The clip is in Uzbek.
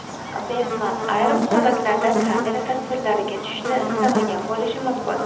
Bergmann ayrim holatlarda kamera tasvirlariga tushishni istamagan bo‘lishi mumkin.